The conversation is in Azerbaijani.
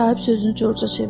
Sahib sözünü Corca çevirdi.